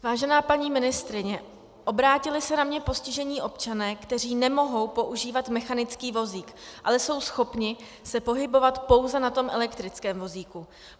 Vážená paní ministryně, obrátili se na mě postižení občané, kteří nemohou používat mechanický vozík, ale jsou schopni se pohybovat pouze na tom elektrickém vozíku.